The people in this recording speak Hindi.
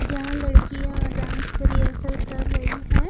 जहाँ लड़कियाँ डांस रिहसल कर रही है।